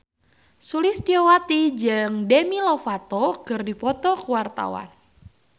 Sulistyowati jeung Demi Lovato keur dipoto ku wartawan